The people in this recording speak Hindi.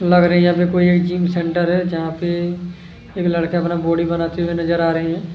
लग रहा है यहाँ पे कोई जिम सेंटर है जहाँ पे एक लड़का अपना बॉडी बनाते हुए नज़र आ रहे है।